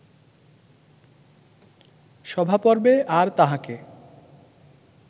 সভাপর্বে আর তাঁহাকে